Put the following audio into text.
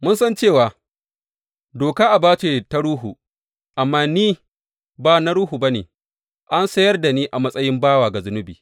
Mun san cewa doka aba ce ta ruhu; amma ni ba na ruhu ba ne, an sayar da ni a matsayin bawa ga zunubi.